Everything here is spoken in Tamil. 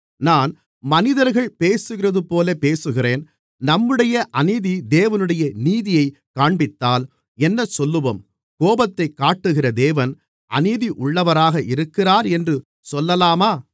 நான் மனிதர்கள் பேசுகிறதுபோலப் பேசுகிறேன் நம்முடைய அநீதி தேவனுடைய நீதியைக் காண்பித்தால் என்னசொல்லுவோம் கோபத்தைக் காட்டுகிற தேவன் அநீதி உள்ளவராக இருக்கிறார் என்று சொல்லலாமா